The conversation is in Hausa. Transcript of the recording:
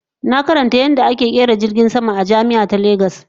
Na karanta yadda ana kera jirgin sama a jami'a ta Lagos